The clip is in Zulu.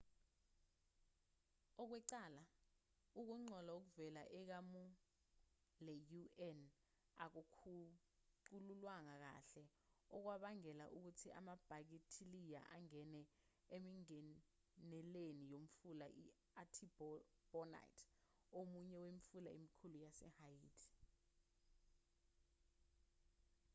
ngokwecala ukungcola okuvela ekamu le-un akukhucululwanga kahle okwabangela ukuthi amabhakithiliya angene emingeneleni yomfula i-artibonite omunye wemifula emikhulu yasehaiti